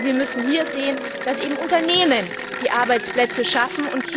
Wir müssen sehen, dass eben Unternehmen die Arbeitsplätze schaffen.